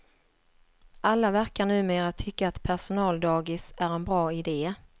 Alla verkar numera tycka att personaldagis är en bra ide.